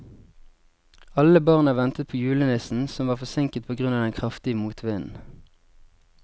Alle barna ventet på julenissen, som var forsinket på grunn av den kraftige motvinden.